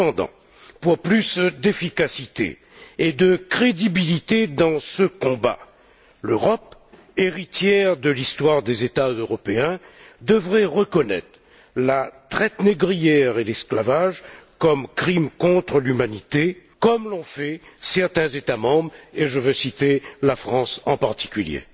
Cependant, pour plus d'efficacité et de crédibilité dans ce combat, l'Europe, héritière de l'histoire des États européens, devrait reconnaître la traite négrière et l'esclavage comme crime contre l'humanité, comme l'ont fait certains États membres, et je veux citer la France en particulier.